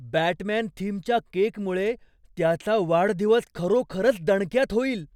Batman थीमच्या केकमुळे त्याचा वाढदिवस खरोखरच दणक्यात होईल!